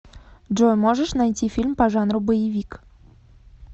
джой можешь найти фильм по жанру боевик